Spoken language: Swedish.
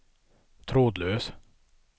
trådlös